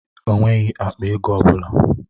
O nweghị akpa ego ọ bụla.